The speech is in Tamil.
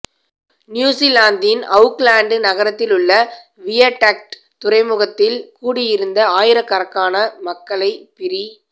நியூசிலாந்தின் அவுக்லேன்ட் நகரத்திலுள்ள வியடக்ட் துறைமுகத்தில் கூடியிருந்த ஆயிரக்கணக்கான மக்களை பிரி